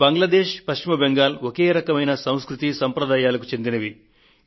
బంగ్లాదేశ్ పశ్చిమ బెంగాల్ ఒకే రకమైన సంస్కృతి సంప్రదాయాలకు చెందినవి